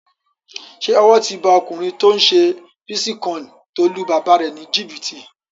Ṣé owó ti ba ọkùnrin tó n ṣe bítíkọ́ìnì tó lu bàbá rẹ̀ ní jìbìtì?